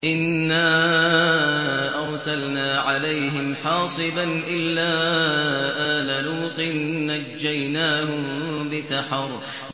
إِنَّا أَرْسَلْنَا عَلَيْهِمْ حَاصِبًا إِلَّا آلَ لُوطٍ ۖ نَّجَّيْنَاهُم بِسَحَرٍ